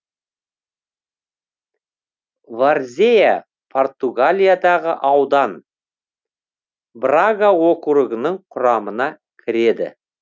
варзеа португалиядағы аудан брага округінің құрамына кіреді